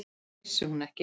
Vissi hún ekki!